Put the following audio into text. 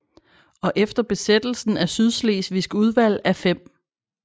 Og efter besættelsen af Sydslesvigsk Udvalg af 5